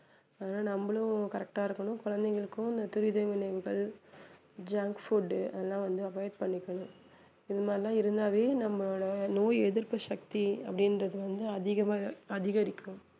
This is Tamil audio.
அதனால நம்மளும் correct ஆ இருக்கனும் குழந்தைகளுக்கும் இந்த துரித உணவுகள் junk food அதெல்லாம் வந்து avoid பண்ணிக்கணும் இது மாதிரிலாம் இருந்தாவே நம்மளோட நோய் எதிர்ப்பு சக்தி அப்படின்றது வந்து அதிகமா அதிகரிக்கும்